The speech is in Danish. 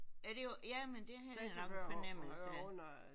Er det jo ja men det havde jeg nok en fornemmelse af